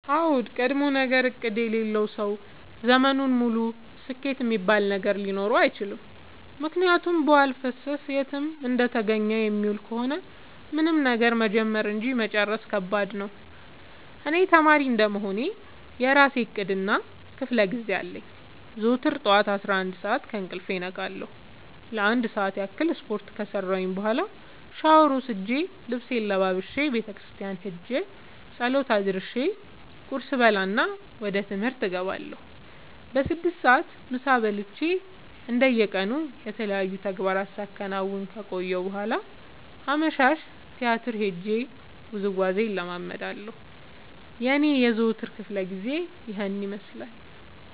አዎድ ቀድሞነገር እቅድ የሌለው ሰው ዘመኑን ሙሉ ስኬት እሚባል ነገር ሊኖረው አይችልም። ምክንያቱም በዋልፈሰስ የትም እንደተገኘ የሚውል ከሆነ ምንም ነገር መጀመር እንጂ መጨረስ ከባድ ነው። እኔ ተማሪ እንደመሆኔ የእራሴ እቅድ እና ክፋለጊዜ አለኝ። ዘወትር ጠዋት አስራአንድ ሰዓት ከእንቅልፌ እነቃለሁ ለአንድ ሰዓት ያክል ስፓርት ከሰራሁኝ በኋላ ሻውር ወስጄ ልብሴን ለባብሼ ቤተክርስቲያን ኸጄ ፀሎት አድርሼ ቁርስ እበላና ወደ ትምህርት እገባለሁ። በስድስት ሰዓት ምሳ በልቼ እንደ የቀኑ የተለያዩ ተግባራትን ሳከናውን ከቆየሁ በኋላ አመሻሽ ቲያትር ሄጄ ውዝዋዜ እለምዳለሁ የኔ የዘወትር ክፍለጊዜ ይኸን ይመስላል።